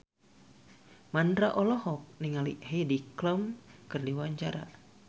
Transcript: Mandra olohok ningali Heidi Klum keur diwawancara